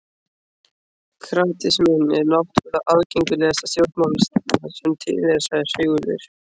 Kratisminn er náttúrlega aðgengilegasta stjórnmálastefna sem til er, sagði Sigurður.